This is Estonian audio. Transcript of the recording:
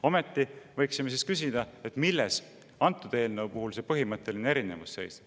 Aga me võiksime siis küsida, milles seisneb antud eelnõu puhul põhimõtteline erinevus.